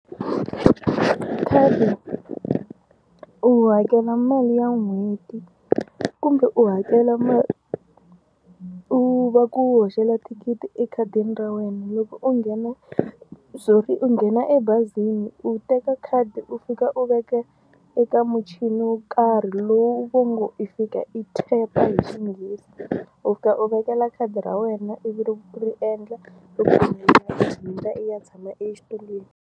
Khadi u hakela mali ya n'hweti kumbe u hakela mali u va ku hoxela thikithi ekhadini ra wena loko u nghena sorry u nghena ebazini u teka khadi u fika u veka eka muchini wo karhi lowu va ngo i fika i tap hi Xinghezi u fika u vekela khadi ra wena ivi u ri endla i hundza i ya tshama exitulwini.